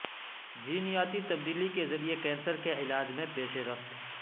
جینیاتی تبدیلی کے ذریعے کینسر کے علاج میں پیش رفت